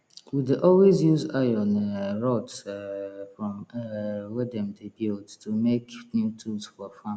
we dey always use iron um rods um from um wey dem dey build to make new tools for farm